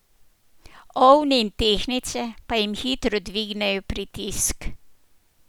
Ovni in tehtnice pa jim hitro dvignejo pritisk.